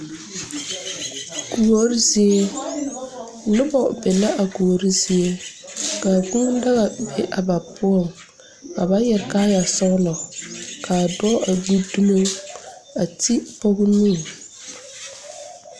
Kuori zie noba be la a kuori zie ka a κūūdaga be a ba poɔŋ ka ba yɛre kaayɛ sɔglɔ ka a dɔɔ a gbi dumo a te pɔge nu